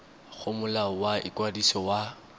go molao wa ikwadiso wa